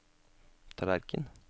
tallerken